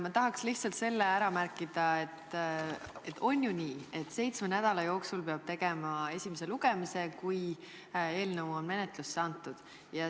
Ma tahaks lihtsalt selle ära märkida, et on ju nii, et seitsme nädala jooksul peab tegema esimese lugemise, kui eelnõu on menetlusse antud.